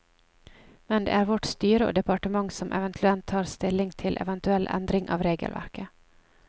Men det er vårt styre og departementet som eventuelt tar stilling til eventuell endring av regelverket.